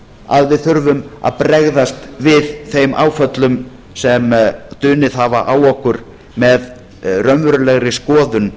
að við þurfum að bregðast við þeim áföllum sem dunið hafa á okkur með raunverulegri skoðun